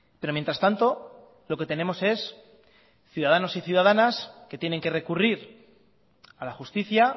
pero mientras tanto lo que tenemos es ciudadanos y ciudadanas que tienen que recurrir a la justicia